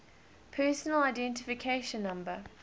personal identification number